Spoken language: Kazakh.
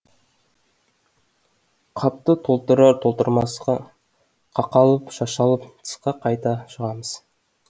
қапты толтырар толтырмасқа қақалып шашалып тысқа қайта шығамыз